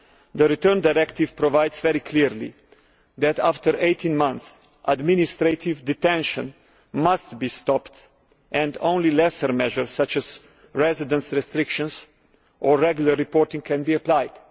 The Return Directive provides very clearly that, after 18 months, administrative detention must be stopped and only lesser measures, such as residence restrictions or regular reporting can be applied.